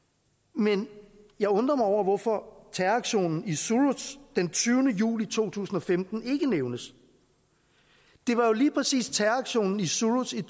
men jeg undrer mig over hvorfor terroraktionen i suruç den tyvende juli to tusind og femten ikke nævnes det var jo lige præcis terroraktionen i suruç i